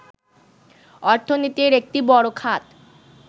অর্থনীতির একটি বড় খাত